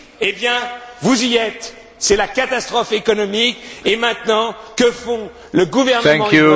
Eh bien, vous y êtes, c'est la catastrophe économique et maintenant, que fait le gouvernement irlandais?